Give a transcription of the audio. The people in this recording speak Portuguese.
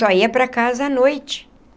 Só ia para casa à noite.